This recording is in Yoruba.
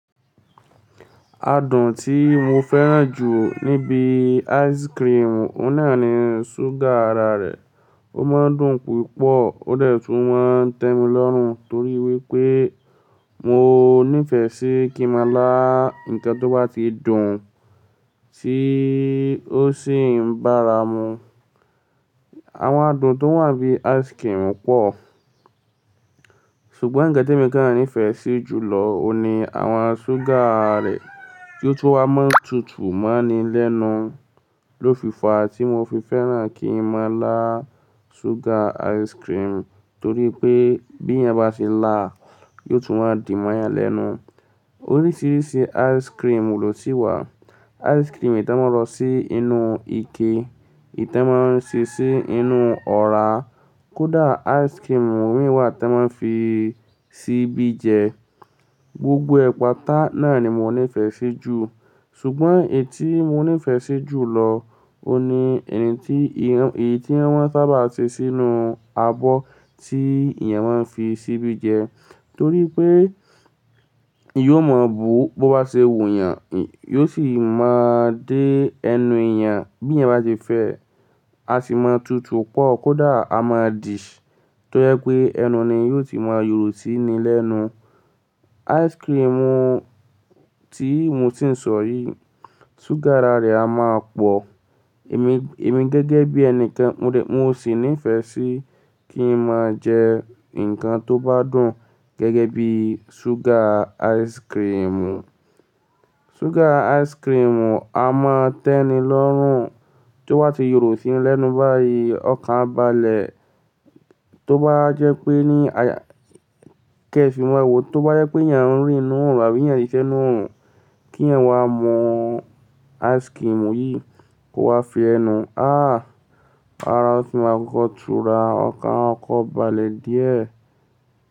Adùn tí mo fẹ́ràn jù níbi ice cream, ó náà ni súgà ara rẹ̀. Ó máa ń dùn púpọ̀, ó lè tún máa ń tẹ́mi lọ́rùn torí wípé mo níìfẹ̀ sí kí màá lá ńkan tó bá ti dùn tí ó sì ń bára mu. Àwọn adùn tó wà bí ice cream pọ̀, ṣùgbọ́n gẹ́tẹ̀ mi gán-an nífẹ̀ẹ́ sí jùlọ ó ni àwọn súgà rẹ̀ tí ó tún máa ń tutù mọ́ni lénu ló fi fa tí mo fi fẹ́ràn kí màá lá sugar ice cream torí pé bí èèyàn bá ti lá á, yóò tún máa dì mọ́ èèyàn lénu. Oríṣiríṣi ice cream lò si wà. Ice cream ìtẹ́ máa lọ sí inú ike, ìtẹ́ máa ń ṣí sí inú ọ̀ra, kódà ice cream mìíràn wà tí wọ́n fi síbi jẹ. Gbogbo ẹ̀pà tá náà ni mo níìfẹ̀ sí jù, ṣùgbọ́n èyí tí mo níìfẹ̀ sí jùlọ ó ni ẹni tí ìh- èyí tí wọ́n sábà ṣe sínú abọ́ tí èèyàn máa ń fi síbi jẹ torí pé ìyó mọ̀ bó bó bá ṣe wù èèyàn, ìyó sì máa dé ẹnu èèyàn bí èèyàn bá ti fẹ́ a sì máa tutù pọ̀ kódà a máa dì í torí pé ẹnu ni yóò ti máa yòrò síi ni lénu. Ice cream tí mo ti ń sọ yìí, súgà ara rẹ̀ a máa pọ̀. Èmi, èmi gẹ́gẹ́ bí ẹni kàn mo lè, mo sì níìfẹ̀ sí kí n máa jẹ ńkan tó bá dùn gẹ́gẹ́ bí sugar ice cream. Sugar ice cream a máa tẹ́ni lọ́rùn tí ó bá ti yòrò síi lénu báyìí, ọ̀kan balẹ̀ tó bá jẹ́ pé ní aya-- kẹ́ fi mọ ẹwu, tó bá jẹ́ pé èèyàn ń rìínú òun àbí èèyàn ti sẹ́nú òun kí èèyàn wá mọ ice cream yìí kó wá fi ẹnu, aah! Ara òún sì máa kokọ̀tùra, ọ̀kan akọ̀ ko balẹ̀ díẹ̀